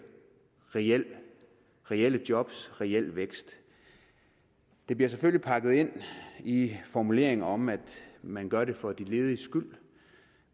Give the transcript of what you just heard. reelle reelle jobs og reel vækst det bliver selvfølgelig pakket ind i formuleringer om at man gør det for de lediges skyld